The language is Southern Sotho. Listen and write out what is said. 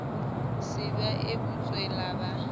se ba e butswela ba